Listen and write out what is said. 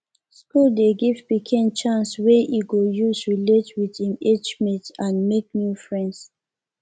school dey give pikin chance wey e go use relate with im age mates and make new friends